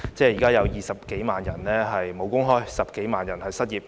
現在有20多萬人"無工開"、10多萬人失業。